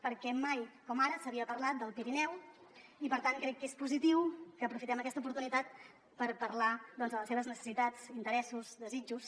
perquè mai com ara s’havia parlat del pirineu i per tant crec que és positiu que aprofitem aquesta oportunitat per parlar de les seves necessitats interessos desitjos